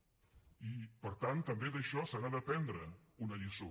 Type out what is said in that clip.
i per tant també d’això se n’ha d’aprendre una lliçó